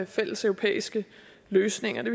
fælleseuropæiske løsninger det